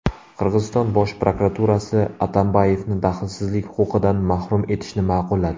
Qirg‘iziston Bosh prokuraturasi Atambayevni daxlsizlik huquqidan mahrum etishni ma’qulladi.